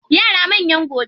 Yara manyan gobe.